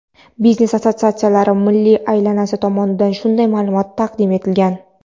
Biznes-assotsiatsiyalari milliy alyansi tomonidan shunday ma’lumot taqdim etilgan.